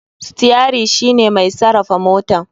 Steri shine mai sarafa motan.